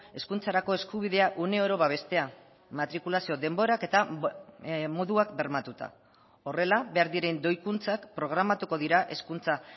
hezkuntzarako eskubidea uneoro babestea matrikulazio denborak eta moduak bermatuta horrela behar diren doikuntzak programatuko dira hezkuntza